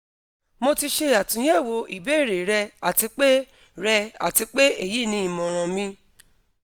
mo ti ṣe atunyẹwo ibeere rẹ ati pe rẹ ati pe eyi ni imọran mi